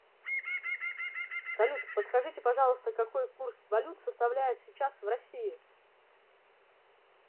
салют подскажите пожалуйста какой курс валют составляет сейчас в россии